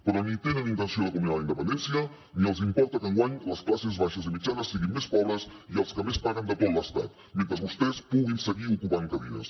però ni tenen intenció de culminar la independència ni els importa que enguany les classes baixes i mitjanes siguin més pobres i les que més paguen de tot l’estat mentre vostès puguin seguir ocupant cadires